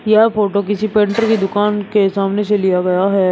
यह फोटो किसी पेंटर की दुकान के सामने से लिया गया है।